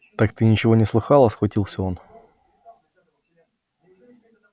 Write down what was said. так ты ничего не слыхала схватился он